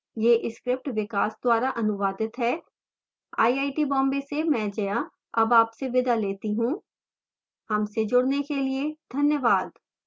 यह script विकास द्वारा अनुवादित है मैं जया अब आपसे विदा लेती हूँ हमसे जुडने के लिए धन्यवाद